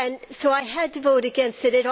So I had to vote against it.